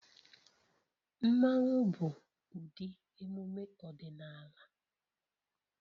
Mmanwu bụ ụdị emume ọdịnala